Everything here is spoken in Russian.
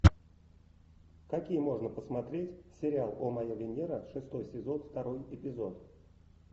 какие можно посмотреть сериал о моя венера шестой сезон второй эпизод